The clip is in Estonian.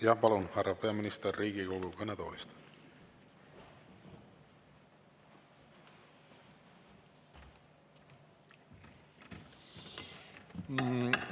Jah, palun, härra peaminister, Riigikogu kõnetoolist!